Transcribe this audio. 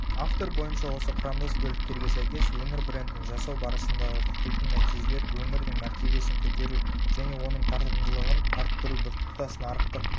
автор бойынша осы құрамдас бөліктерге сәйкес өңір брендін жасау барысындағы күтілтін нәтижелер өңірдің мәртебесін көтеру және оның тартымдылығын арттыру біртұтас нарықтық